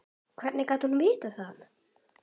Hvernig gat hann vitað það.